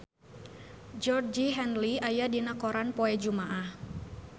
Georgie Henley aya dina koran poe Jumaah